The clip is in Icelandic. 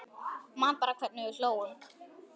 Man bara hvernig við hlógum.